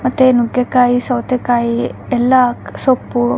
ಮತ್ತೆ ನುಗ್ಗೆ ಕಾಯಿ ಸವತೆ ಕಾಯಿ ಎಲ್ಲ ಸೊಪ್ಪು --